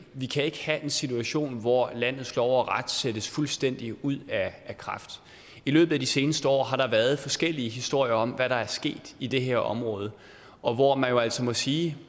vi kan ikke have en situation hvor landets lov og ret sættes fuldstændig ud af kraft i løbet af de seneste år har der været forskellige historier om hvad der er sket i det her område og hvor man jo altså må sige